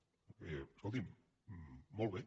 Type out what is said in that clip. escolti’m molt bé